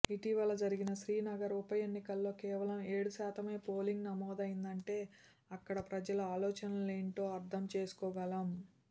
ఇటీవల జరిగిన శ్రీనగర్ ఉప ఎన్నికలో కేవలం ఏడు శాతమే పోలింగ్ నమోదైదంటే అక్కడ ప్రజల ఆలోచనలేంటో అర్థం చేసుకోగలం